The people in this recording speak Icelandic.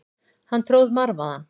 Hann tróð marvaðann.